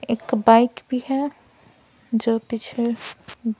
एक बाइक भी है जो पीछे --